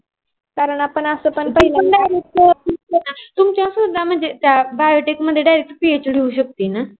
तुमच स्वत biotic मध्ये direct phd होवू शक ना?